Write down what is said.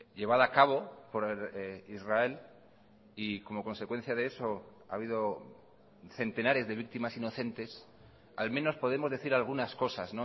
llevada a cabo por israel y como consecuencia de eso ha habido centenares de víctimas inocentes al menos podemos decir algunas cosas